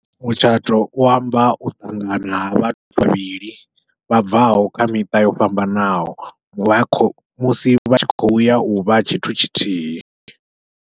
Mutshato u amba u ṱanganya ha vhathu vhavhili, vha bvaho kha miṱa yo fhambanaho vha kho musi vha tshi khou ya uvha tshithu tshithihi.